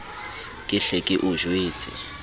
ke hle ke o jwetse